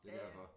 Det er derfor